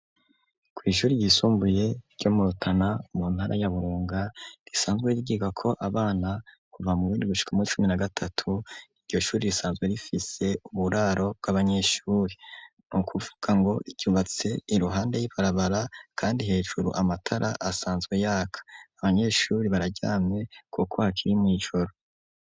Ku ishuri ryisumbuye ryo motana mu ntara ya burunga risanzwe rrwiga ko abana kuva mu rindi gushika muri cumi na gatatu iryoshuri risanzwe rifise uburaro bw'abanyeshuri nu kuvuga ngo cyubatse iruhande y'iparabara kandi hejuru amatara asanzwe yaka abanyeshuri barajyamye ku koakiri mu ijoro.